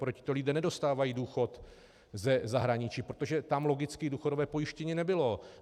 Protože tito lidé nedostávají důchod ze zahraničí, protože tam logicky důchodové pojištění nebylo.